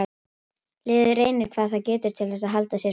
Liðið reynir hvað það getur til þess að halda sér frá falli.